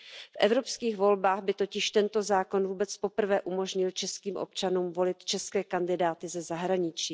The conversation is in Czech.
V evropských volbách by totiž tento zákon vůbec poprvé umožnil českým občanům volit české kandidáty ze zahraničí.